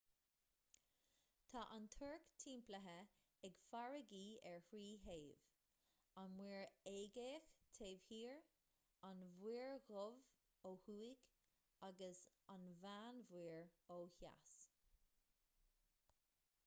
tá an tuirc timpeallaithe ag farraigí ar thrí thaobh an muir aeigéach taobh thiar an mhuir dhubh ó thuaidh agus an mheánmhuir ó dheas